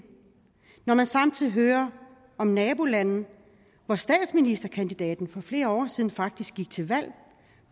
når man samtidig hører om nabolande hvor statsministerkandidaten for flere år siden faktisk gik til valg